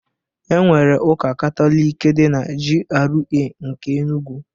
Enwere Ụka Katọlik dị na GRA nke Enugwu.